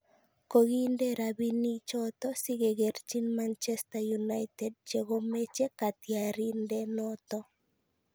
Kogiinde rabinichoto sigegerchi Manchester United chekomeche katyarindenoto